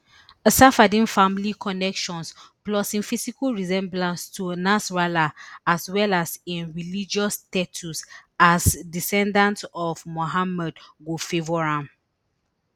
safieddine family connections plus im physical resemblance to nasrallah as well as im religious status as descendant of mohammed go favour am